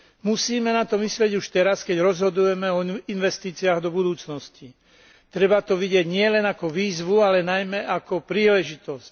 Musíme na to myslieť už teraz, keď rozhodujeme o investíciách do budúcnosti, treba to vidieť nielen ako výzvu, ale najmä ako príležitosť.